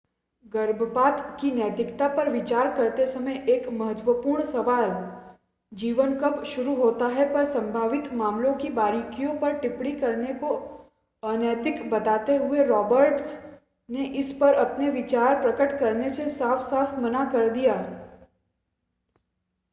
गर्भपात की नैतिकता पर विचार करते समय एक महत्वपूर्ण सवाल जीवन कब शुरू होता है पर संभावित मामलों की बारीकियों पर टिप्पणी करने को अनैतिक बताते हुए रॉबर्ट्स ने इस पर अपने विचार प्रकट करने से साफ़-साफ़ मना कर दिया